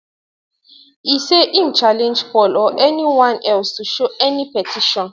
e say im challenge paul or anyone else to show any petition